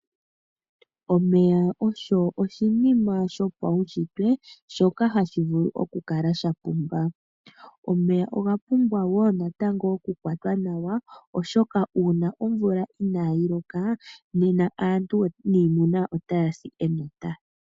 Omeya ogo oshinima shopaunshitwe shoka hashi vulu oku kala sha pimba. Omeya oga pumbwa wo natango oku kwatwa nawa, oshoka uuna omvula iinayi loka, nena aantu otaya si enota.